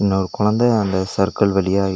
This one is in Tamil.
அந்த கொழந்த அந்த சர்க்கல் வழியா--